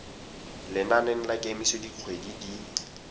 lenaneng la kemiso dikgwedi di